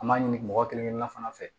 An m'a ɲini mɔgɔ kelen kelenna fana fɛ